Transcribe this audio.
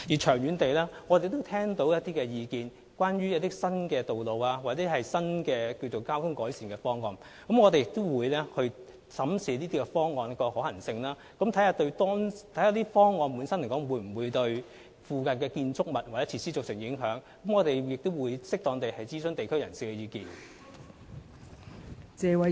長遠而言，我們聽到一些關於新道路和新交通改善方案的意見，我們也會審視這些方案的可行性，以及研究這些方案會否對附近建築物或設施造成影響，並且會適當地諮詢地區人士的意見。